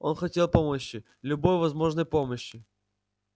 он хотел помощи любой возможной помощи